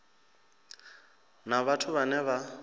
na vhathu vhane vha vha